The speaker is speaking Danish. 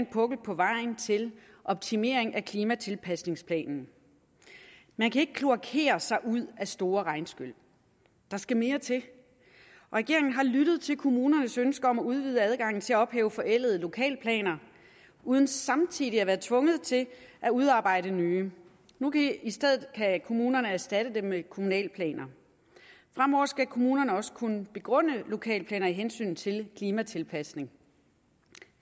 på vejen til optimering af klimatilpasningsplanen man kan ikke kloakere sig ud af store regnskyl der skal mere til og regeringen har lyttet til kommunernes ønsker om at udvide adgangen til at ophæve forældede lokalplaner uden samtidig at være tvunget til at udarbejde nye i stedet kan kommunerne erstatte dem med kommunalplaner fremover skal kommunerne også kunne begrunde lokalplaner af hensyn til klimatilpasning